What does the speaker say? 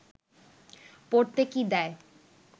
পড়তে কি দেয়